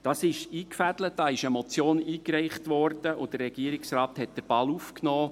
Das ist eingefädelt, dazu ist eine Motion eingereicht worden, und der Regierungsrat den Ball aufgenommen.